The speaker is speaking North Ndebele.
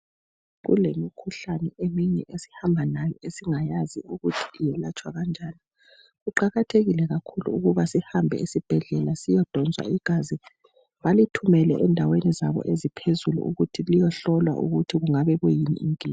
Kulemikhuhlane eminye esihamba layo esingayazi ukuthi yelatshwa kanjani. Kuqakathekile kakhulu ukuba sihambe ezibhedlela siyodonswa igazi balithumele endaweni zabo eziphezulu ukuthi liyohlolwa ukuthi kungabe kuyini inkinga.